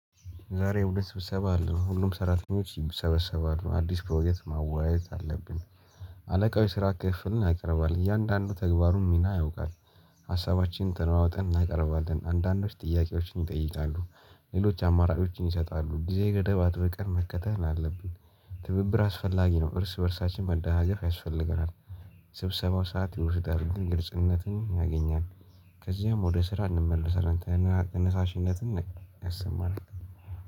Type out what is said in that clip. ዛሬ ሁለት ስብሰባ አለ ሁሉም ሰራተኞች ይሰበሰባሉ አዲስ ፕሮጀክት ማወያየት አለብን። አለቃው የስራ ክፍፍልን ያቀርባል እያንዳንዱ ተግባሩን ሚና ያውቃል። ሀሳባችን ተለዋውጠን እናቀርባለን አንዳንዶች ጥያቄዎችን ይጠይቃሉ ሌሎች አማራጮችን ይሰጣሉ ጊዜ ገደብ አጥብቀን መከተል አለብን። ትብብር አስፈላጊ ነው እርስ በእርሳችን መደጋገፍ ያስፈልገናል። ስብሰባው ሰዓት ይወስዳል ግን ግልጽነትን ያገኛል። ከዚያም ወደ ስራ እንመላሳለን ተነሳሽነትን አሰማነን